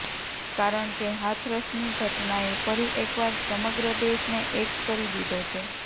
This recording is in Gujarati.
કારણ કે હાથરસની ઘટનાએ ફરી એકવાર સમગ્ર દેશને એક કરી દીધો છે